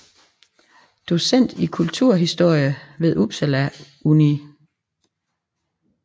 Docent i Kunsthistorie ved Upsala Univ